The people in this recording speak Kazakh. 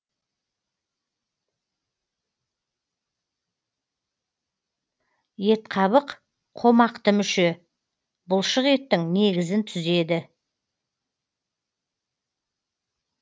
етқабық қомақты мүше бұлшық еттің негізін түзеді